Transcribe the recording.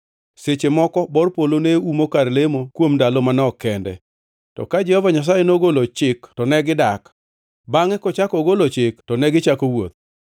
Seche moko bor polo neumo kar lemo kuom ndalo manok kende; to ka Jehova Nyasaye nogolo chik to negidak, bangʼe kochako ogolo chik to gichako wuoth.